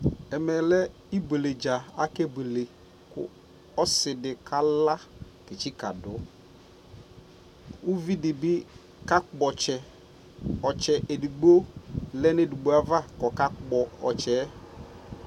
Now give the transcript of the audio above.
ɛmɛ lɛɛbʋɛlɛ dza kʋ akɛ bʋɛlɛ, ɔsii di kala kɛ tsika dʋ, ʋvi dibi ka kpɔ ɔtsɛ, ɔtsɛ ɛdigbɔ lɛnʋ ɛdigbɔ aɣa kʋɔka kpɔ ɔtsɛ